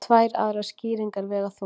Tvær aðrar skýringar vega þungt